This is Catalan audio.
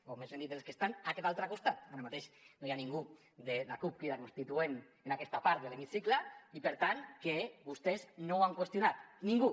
o més ben dit dels que estan a aquest altre costat ara mateix no hi ha ningú de la cup crida constituent en aquesta part de l’hemicicle i per tant que vostès no han qüestionat ningú